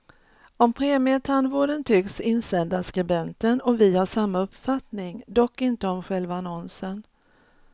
Om premietandvården tycks insändarskribenten och vi ha samma uppfattning, dock inte om själva annonsen.